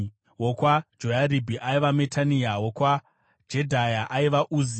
wokwaJoyaribhi aiva Matenai; wokwaJedhaya, aiva Uzi;